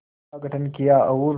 का गठन किया और